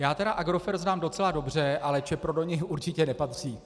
Já tedy Agrofert znám docela dobře, ale Čepro do něj určitě nepatří.